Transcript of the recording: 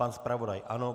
Pan zpravodaj ano.